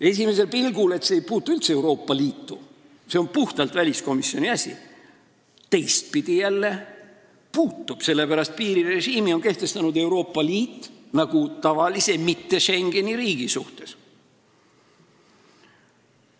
Esimesel pilgul ei puutu see üldse Euroopa Liitu, see on puhtalt väliskomisjoni asi, teistpidi jälle puutub, sellepärast et selle piirirežiimi on kehtestanud Euroopa Liit nagu tavalise riigi, mitte Schengeni riigi suhtes.